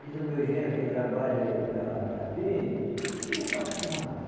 Diz o meu genro que trabalha aí para para dentro, que já estão acostumados.